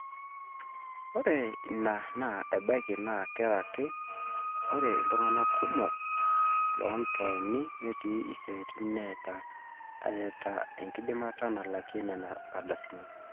ore ina naa ebaiki naa karaki ore iltung'anak kumok loontaoni netii isiaitin metaa eeta enkidimata nalakia nena ardasini